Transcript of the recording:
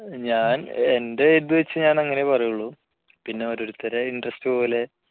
ഞാൻ എൻറെ ഇത് വച്ച് ഞാൻ അങ്ങനെ പറയുള്ളൂ പിന്നെ ഓരോരുത്തരുടെ interest പോലെ